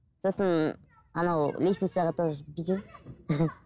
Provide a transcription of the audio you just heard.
сосын анау лестницаға тоже бүйтемін